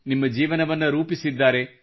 ನಿಮ್ಮ ಜೀವನವನ್ನು ರೂಪಿಸಿದ್ದಾರೆ